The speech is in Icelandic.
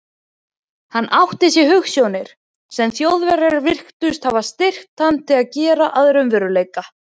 Hann átti sér hugsjónir, sem Þjóðverjar virtust geta styrkt hann til að gera að raunveruleika.